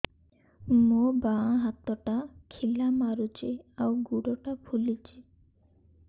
ମୋ ବାଆଁ ହାତଟା ଖିଲା ମାରୁଚି ଆଉ ଗୁଡ଼ ଟା ଫୁଲୁଚି